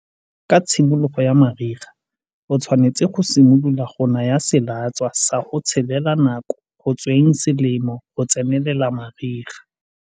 Ka tshimologo ya mariga, o tshwanetse go simolola go naya selatswa sa go tshelela nako go tsweng selemo go tsenelela mariga.